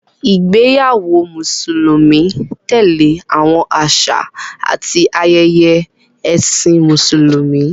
Ìgbéyàwó Mùsùlùmí tẹ̀lé àwọn àṣà àti ayẹyẹ Ẹ̀sìn Mùsùlùmí.